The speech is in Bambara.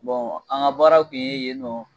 Bɔn an ka baara kun ye yen nɔ